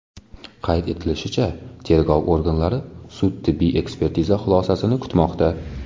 Qayd etilishicha, tergov organlari sud-tibbiy ekspertiza xulosasini kutmoqda.